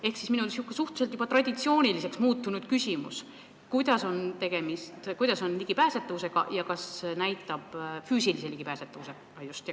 Ehk esitan juba oma suhteliselt traditsiooniliseks muutunud küsimuse: kuidas on lood ligipääsetavusega, just füüsilise ligipääsetavusega?